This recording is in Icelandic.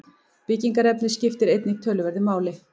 Byggingarefnið skiptir einnig töluverðu máli.